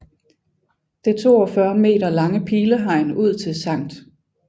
Det 42 meter lange pilehegn ud til Sct